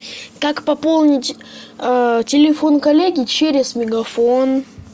как пополнить телефон коллеги через мегафон